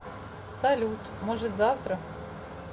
салют может завтра